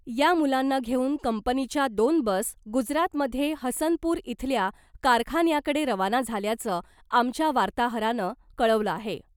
या मुलांना घेऊन कंपनीच्या दोन बस गुजरातमध्ये हसनपूर इथल्या कारखान्याकडे रवाना झाल्याचं , आमच्या वार्ताहरानं कळवलं आहे .